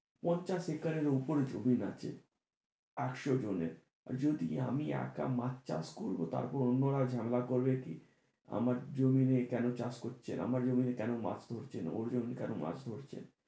পঞ্চাশ একরের উপর জমিন আছে আটশো জনের আর যদি আমি একা মাছ চাষ করবো তারপর অন্যরা ঝামেলা করবে কি আমার জমিনে কেন চাষ করছেন? আমার জমিন এ নিয়ে কেন মাছ করছেন? ওর জমিনে কোনো মাছ করছেন?